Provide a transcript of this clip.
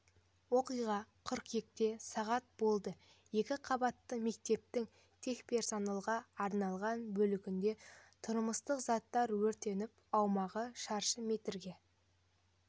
оқиға қыркүйекте сағат болды екі қабатты мектептің техперсоналға арналған бөлігінде тұрмыстық заттар өртеніп аумағы шаршы метрге